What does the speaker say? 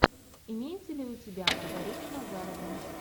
имеется ли у тебя маргарита назарова